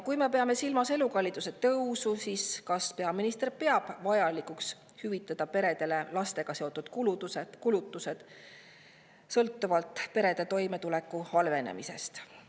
Kui me peame silmas elukalliduse tõusu, siis kas peaminister peab vajalikuks hüvitada peredele lastega seotud kulutusi perede toimetuleku halvenemist?